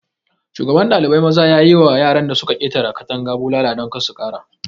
Shugaban ɗalibai maza zai yi ma yaran da su ka ƙetara katanga bulala don kar su ƙara.